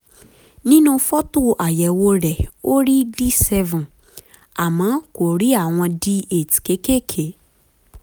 nínú fọ́tò àyẹ̀wò rẹ̀ ó rí d seven àmọ́ kò rí àwọn d eight kéékèèké